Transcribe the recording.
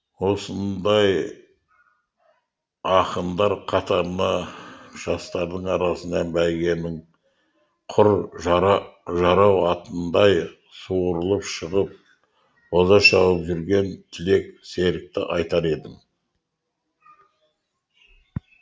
осындай ақындар қатарына жастардың арасынан бәйгенің құр жарау атындай суырылып шығып оза шауып жүрген тілек серікті айтар едім